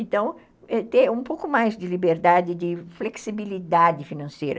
Então, ter um pouco mais de liberdade, de flexibilidade financeira.